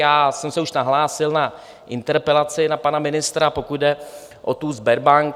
Já jsem se už nahlásil na interpelaci na pana ministra, pokud jde o tu Sberbank.